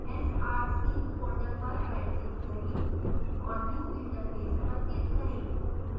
src folder पर rightclick करें और new> interface पर click करें